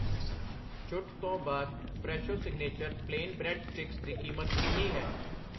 ਛੁੱਟ ਤੋਂ ਬਾਅਦ Fresho signature plain bread sticks ਦੀ ਕੀਮਤ ਕਿੰਨੀ ਹੈ ?